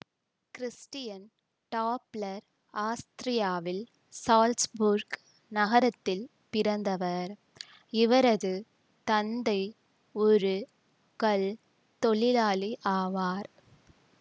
Christian Doppler ஆஸ்திரியாவில் Salzburg நகரத்தில் பிறந்தவர் இவரது தந்தை ஒரு கல் தொழிலாளி ஆவார்